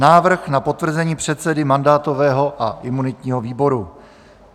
Návrh na potvrzení předsedy mandátového a imunitního výboru